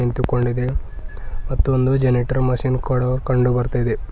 ನಿಂತುಕೊಂಡಿದೆ ಮತ್ತು ಒಂದು ಜನರೇಟರ್ ಮಷೀನ್ ಕೂಡ ಕಂಡು ಬರ್ತಾ ಇದೆ .